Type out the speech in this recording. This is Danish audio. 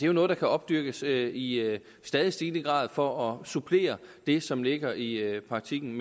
jo noget der kan opdyrkes i stadig stigende grad for at supplere det som ligger i i praktikken